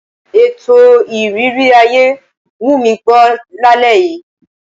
Ètò ìrírí ayé wù mí gbọ́ lálẹ́ yìí.